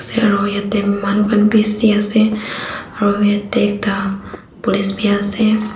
manu khan bishi ase aro yate ekta police bi ase.